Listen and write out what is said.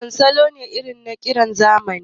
Walda salo ne irin na ƙiran zamani